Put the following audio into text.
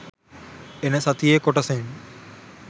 එන සතියේ කොටසෙන්